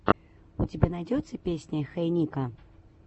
у тебя найдется песня хей нико